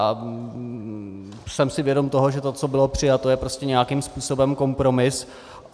A jsem si vědom toho, že to, co bylo přijato, je prostě nějakým způsobem kompromis.